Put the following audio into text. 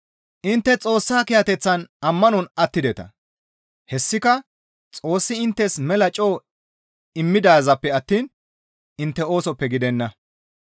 Intte Xoossa kiyateththan ammanon attideta; hessika Xoossi inttes mela coo immidazaappe attiin intte oosoppe gidenna.